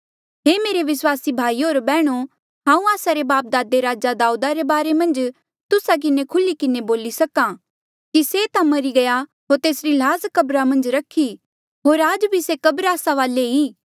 हे मेरे विस्वासी भाईयो बैहणो हांऊँ आस्सा रे बापदादे राजा दाऊदा रे बारे मन्झ तुस्सा किन्हें खुल्ही किन्हें बोली सक्हा कि से ता मरी गया होर तेसरी ल्हास कब्र मन्झ रखी होर आज भी से कब्र आस्सा वाले ई